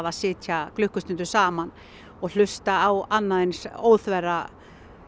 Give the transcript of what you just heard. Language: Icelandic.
að sitja klukkustundum saman og hlusta á annan eins óþverra